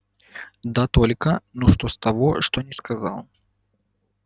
да только ну что с того что не сказал